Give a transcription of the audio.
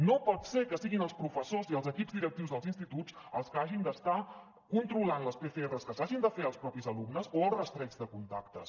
no pot ser que siguin els professors i els equips directius dels instituts els que hagin d’estar controlant les pcrs que s’hagin de fer els mateixos alumnes o el rastreig de contactes